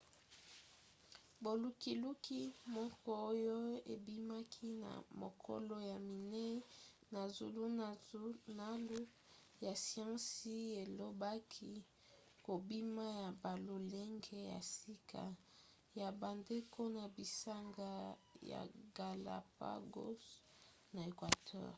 bolukiluki moko oyo ebimaki na mokolo ya minei na zulunalu ya siansi elobaki kobima ya balolenge ya sika ya bandeko na bisanga ya galápagos na equateur